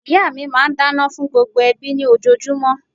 Ìyá mi máa n dáná fún gbogbo ẹbí ní ojojúmó